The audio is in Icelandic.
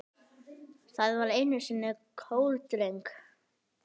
Það var einu sinni kórdreng